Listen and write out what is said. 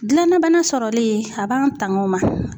Gilan na bana sɔrɔli a b'an tanga o ma.